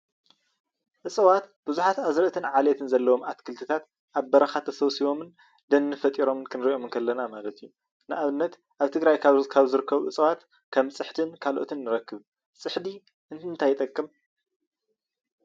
እፅዋት ቡዙሓት ኣዝርእትን ዓሌትን ኣትክልትታት ኣብ በረካ ተሰብሲቦምን ደን ፈጢሮም ክንሪኦም እንከለና ማለት እዩ፡፡ ንኣብነት ካብ ትግራይ ካብ ዝርከቡ እፅዋት ከም ፅሕድን ካልኦትን ንረክብ ፡፡ ፅሕዲ ንምንታይ ይጠቅም?